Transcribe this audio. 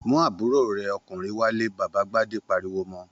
Mú àbúrò rẹ̀ ọkùnrin wálé! Bàbá Gbadé pariwo mọ.